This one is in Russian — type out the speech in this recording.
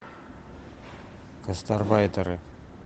гастарбайтеры